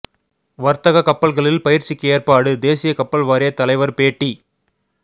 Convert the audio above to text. வர்த்தக கப்பல்களில் பயிற்சிக்கு ஏற்பாடு தேசிய கப்பல் வாரிய தலைவர் பேட்டி